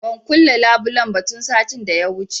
Ban kulle labulen ba tun satin da ya wuce